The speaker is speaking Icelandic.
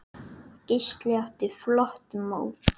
Gísli átti flott mót.